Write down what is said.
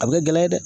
A bɛ kɛ gɛlɛya ye dɛ